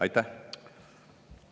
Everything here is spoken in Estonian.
Aitäh!